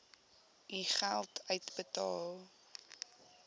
u geld uitbetaal